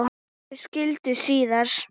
Þau skildu síðar.